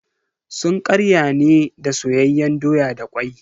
Sun ƙarya ne da soyayyen doya da kwai.